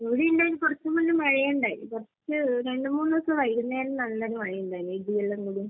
ഇവിടെ ഇത്പോലെ കുറച്ച് മുന്നേ മഴയുണ്ടായി. കുറച്ച്...രണ്ട് മൂന്ന് ദിവസം വൈകുന്നേരം നല്ലൊരു മഴെണ്ടായി ഇടിയെല്ലാം കൂടി. .